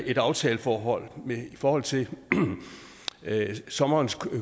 et aftaleforhold i forhold til sommerens